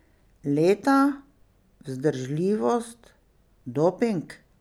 Leta, vzdržljivost, doping?